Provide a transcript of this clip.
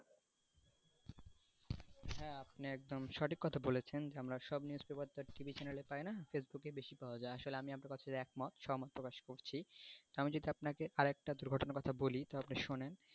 হ্যাঁ আপনি একদম সঠিক কোথা বলেছেন যে আপনার সব news TV channel এ পাইনা facebook এ বেশি পাওয়া যায় আসলে আপনার সাথে একমত সহমত প্রকাশ করছি তা আমি যদি আপনাকে আরেকটা দুর্ঘটনার কোথা বলি তো আপনি শোনেন,